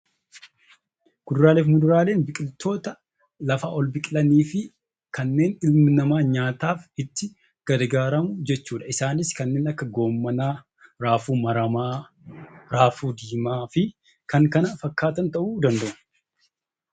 Kuduraalee fi muduraaleen biqiloota lafaa ol biqilanii fi kanneen ilmi namaa nyaataaf itti gargaaramu jechuudha. Isaanis kanneen akka raafuu yookiin raafuu maramaa fi kan kana fakkaatan ta'uu danda'u.